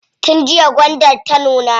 Tun jiya gwandar ta nuna.